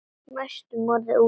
Næstum orðinn úti